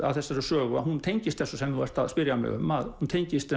að þessari sögu hún tengist þessu sem þú ert að spyrja mig um hún tengist